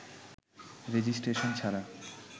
registration ছাড়া